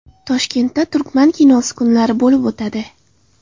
Toshkentda Turkman kinosi kunlari bo‘lib o‘tadi.